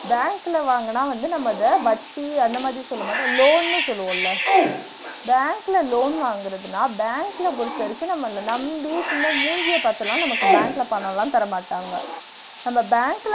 bank ல வாங்குன்னா வந்து நம்ம அத வட்டி அந்த மாதிரி சொல்லமாட்டோம், loan ன்னு சொல்வோம்ல bank ல loan வாங்குறதுனா bank ல பொறுத்த வரைக்கும் நம்மல நம்பி சும்மா மூஞ்சிய பாத்துலாம் நமக்கு bank ல பணம்லாம் தரமாட்டாங்க நம்ம bank ல